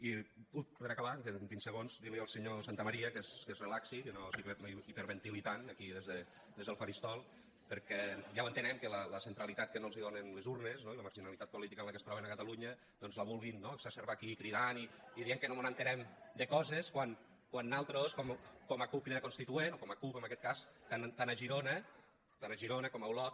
i per acabar em queden vint segons dir li al senyor santamaría que es relaxi que no s’hiperventili tant aquí des del faristol perquè ja ho entenem que la centralitat que no els donen les urnes no i la marginalitat política en què es troben a catalunya doncs la vulguin no exacerbar aquí cridant i dient que no mos assabentem de coses quan nosaltres com a cup crida constituent o com a cup en aquest cas tant a girona com a olot